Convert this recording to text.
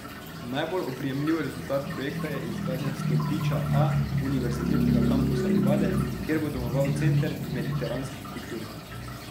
Najbolj oprijemljiv rezultat projekta je izgradnja stolpiča A univerzitetnega kampusa Livade, kjer bo domoval Center mediteranskih kultur.